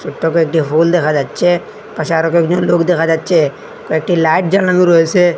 ছোট্ট কয়েকটি ফুল দেখা যাচ্চে পাশে আরো কয়েকজন লোক দেখা যাচ্চে কয়েকটি লাইট জ্বালানো রয়েসে।